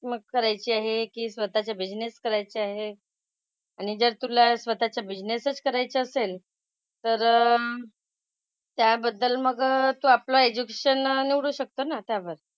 मग करायची आहे की स्वतःचा बिझनेस करायचा आहे. आणि जर तुला स्वतःचा बिझनेसच करायचा असेल तर त्याबद्दल मग तू आपला एज्युकेशन निवडू शकतो ना त्यावर.